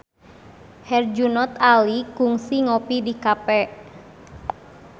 Herjunot Ali kungsi ngopi di cafe